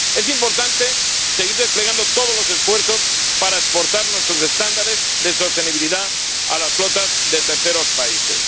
Es importante seguir desplegando todos los esfuerzos para exportar nuestros estándares de sostenibilidad a las flotas de terceros países.